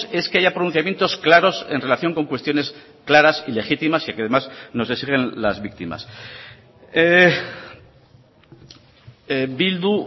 es que haya pronunciamientos claros en relación con cuestiones claras y legítimas y que además nos exigen las víctimas bildu